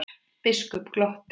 Biskup glotti.